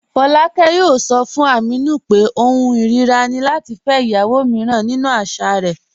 Fọláàkẹ̀ yóò sọ̀ fún Ámínù pé ọ̀hùn irira ni lati fẹ́ ìyàwó míràn nínu àṣà rẹ̀.